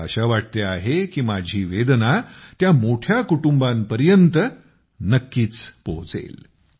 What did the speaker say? मला आशा वाटते आहे की माझी वेदना त्या मोठ्या कुटुंबांपर्यंत नक्कीच पोहोचेल